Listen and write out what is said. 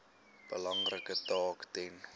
belangrike taak ten